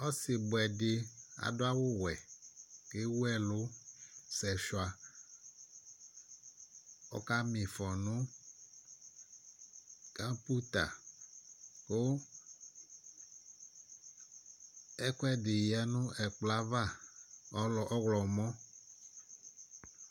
ɔsibuɛdi adu awuwɛ ewuɛlu sɛfa ɔkamifɔ nu kaputa Ɛkuɛdi ya nu ɛkplɔ ava mɔwlɔmɔ